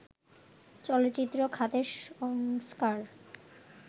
চলচ্চিত্র খাতের সংস্কার